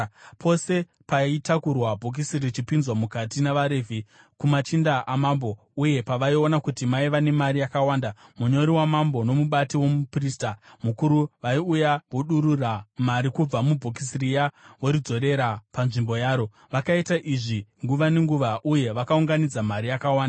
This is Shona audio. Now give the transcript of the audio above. Pose paitakurwa bhokisi richipinzwa mukati navaRevhi kumachinda amambo, uye pavaiona kuti maiva nemari yakawanda, munyori wamambo nomubati womuprista mukuru vaiuya vodurura mari kubva mubhokisi riya voridzorera panzvimbo yaro. Vakaita izvi nguva nenguva uye vakaunganidza mari yakawanda.